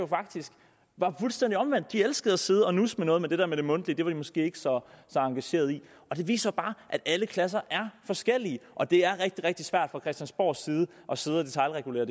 faktisk var fuldstændig omvendt de elskede at sidde og nusse med noget men det der mundtlige var de måske ikke så engagerede i og det viser bare at alle klasser er forskellige og at det er rigtig rigtig svært fra christiansborgs side at sidde og detailregulere